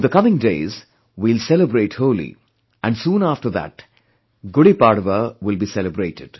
In the coming days, we will celebrate Holi and soon after that, Gudi Padva will be celebrated